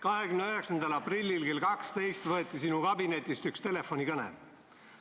29. aprillil kell 12 võeti sinu kabinetist üks telefonikõne.